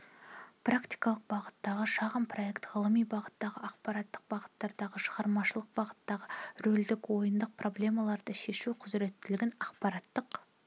практикалық бағыттағы шағын проект ғылыми бағыттағы ақпараттық бағыттағы шығармашылық бағыттағы рольдік ойындық проблемаларды шешу құзіреттілігі ақпараттық